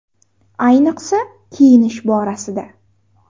Ayniqsa, kiyinish borasida!